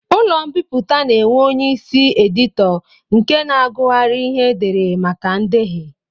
Ụlọ mbipụta na-enwe onyeisi editọ nke na-agụgharị ihe e dere maka ndehie